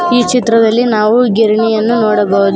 ಈ ಚಿತ್ರದಲ್ಲಿ ನಾವು ಗಿರಣಿಯನ್ನು ನೋಡಬಹುದು.